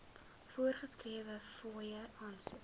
voorgeskrewe fooie aansoek